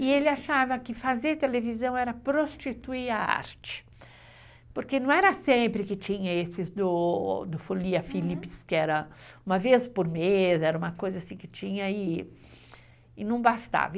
E ele achava que fazer televisão era prostituir a arte, porque não era sempre que tinha esses do Folia Philips, que era uma vez por mês, era uma coisa assim que tinha e não bastava.